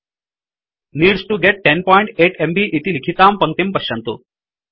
needs to get 108 MB इति लिखितां पङ्क्तिं पश्यन्तु